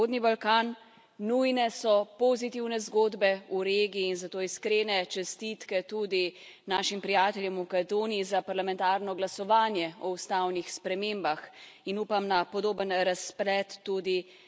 Nujne so pozitivne zgodbe v regiji in zato iskrene čestitke tudi našim prijateljem v Makedoniji za parlamentarno glasovanje o ustavnih spremembah in upam na podoben razplet tudi v Grčiji.